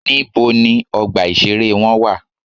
Níbo ni ọgbà ìṣeré wọn wà?